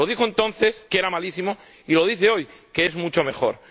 Lo dijo entonces —que era malísimo— y lo dice hoy —que es mucho mejor—.